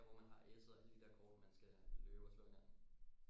Der hvor man har esset og alle de der kort man skal løbe og slå hinanden